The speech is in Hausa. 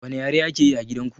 Wani ƴare ake ƴi a gidan ku?